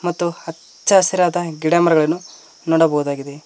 ಮತ್ತು ಅಚ್ಚ ಹಸಿರಾದ ಗಿಡಮರಗಳನ್ನು ನೋಡಬಹುದಾಗಿದೆ.